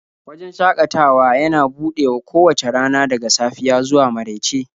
Wajen shakatawan yana buɗewa kowace rana daga safiya zuwa marauice